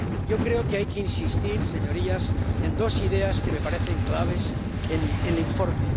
Yo creo que hay que insistir, señorías, en dos ideas que me parecen claves en el informe.